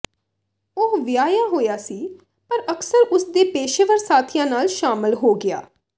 ਉਹ ਵਿਆਹਿਆ ਹੋਇਆ ਸੀ ਪਰ ਅਕਸਰ ਉਸ ਦੇ ਪੇਸ਼ੇਵਰ ਸਾਥੀਆਂ ਨਾਲ ਸ਼ਾਮਲ ਹੋ ਗਿਆ